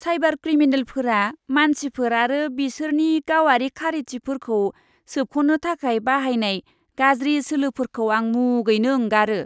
Cyber क्रिमिनेलफोरा मानसिफोर आरो बिसोरनि गावारि खारिथिफोरखौ सोबख'नो थाखाय बाहायनाय गाज्रि सोलोफोरखौ आं मुगैनो ओंगारो!